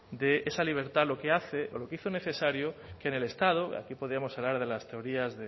de esa libertad lo que hace o lo que hizo necesario que en el estado aquí podríamos hablar de las teorías